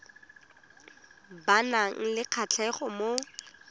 ba nang le kgatlhego mo